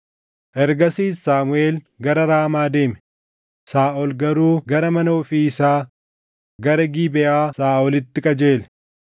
Ergasiis Saamuʼeel gara Raamaa deeme; Saaʼol garuu gara mana ofii isaa, gara Gibeʼaa Saaʼolitti qajeele.